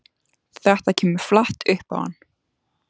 Þetta kemur flatt upp á hann.